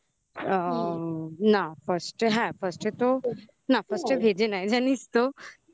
আ না fast fast তো না first এ ভেজে নেয় জানিস তো